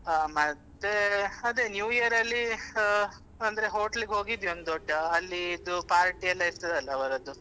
ಮತ್ತೆ ಅದೇ new year ಅಲ್ಲಿ ಅಂದ್ರೆ hotel ಗೆ ಹೋಗಿದ್ವಿ ಒಂದು ದೊಡ್ಡ ಅಲ್ಲಿದು party ಎಲ್ಲ ಇರ್ತದೆ ಅಲ್ಲಾ ಅವರದ್ದು.